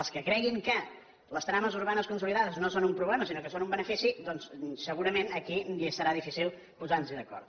els que creguin que les trames urbanes consolidades no són un problema sinó que són un benefici doncs segurament aquí ja serà difícil posar nos d’acord